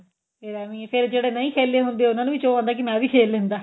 ਫੇਰ ਐਵੀੰ ਫੇਰ ਜਿਹੜੇ ਨਹੀਂ ਖੇਲੇ ਹੁੰਦੇ ਉਹਨਾ ਨੂੰ ਵੀ ਚੋਅ ਹੁੰਦਾ ਕਿ ਮੈਂ ਵੀ ਖੇਲ ਲੈਂਦਾ